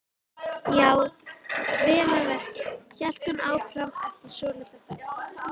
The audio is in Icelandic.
Já, vel að merkja, hélt hún áfram eftir svolitla þögn.